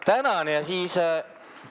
Tänan!